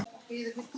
Kjartan Borg.